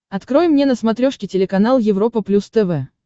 открой мне на смотрешке телеканал европа плюс тв